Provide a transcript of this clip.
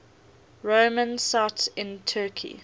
roman sites in turkey